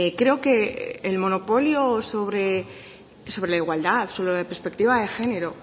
creo que el monopolio sobre la igualdad sobre la perspectiva de género